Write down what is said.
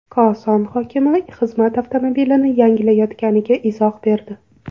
Koson hokimi xizmat avtomobilini yangilayotganiga izoh berdi.